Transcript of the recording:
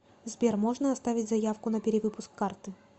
сбер можно оставить заявку на перевыпуск карты